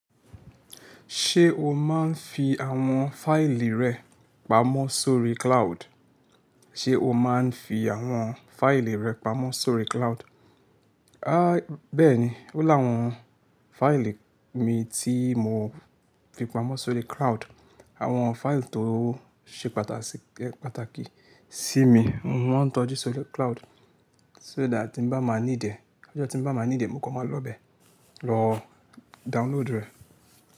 Ṣé o máa ń fi àwọn fáìlì rẹ pamọ́ sórí cloud? Ṣé o máa ń fi àwọn fáìlì rẹ pamọ́ sórí cloud? A bẹ́ẹ̀ni, ó lá àwọn fáìlì mi tí mò fi pamọ́ sórí cloud. Àwọn fáìlì tó ṣe pàtàkì sí mi, mò maa ń tọ́jú sórí cloud, sódà tí bá máa ní dè, lọ́jọ́ tí bá máa ní dè mo kọ máa lọ́bẹ̀ lọ download rẹ̀.